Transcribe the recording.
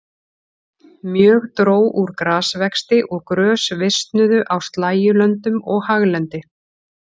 Mjög dró úr grasvexti og grös visnuðu á slægjulöndum og haglendi.